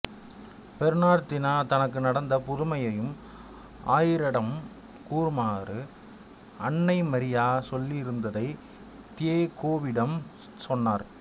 Bernardino தனக்கு நடந்த புதுமையையும் ஆயரிடம் கூறுமாறு அன்னைமரியா சொல்லியிருந்ததை தியெகோவிடம் சொன்னார்